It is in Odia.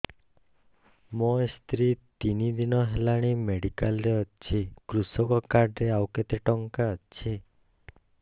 ମୋ ସ୍ତ୍ରୀ ତିନି ଦିନ ହେଲାଣି ମେଡିକାଲ ରେ ଅଛି କୃଷକ କାର୍ଡ ରେ ଆଉ କେତେ ଟଙ୍କା ଅଛି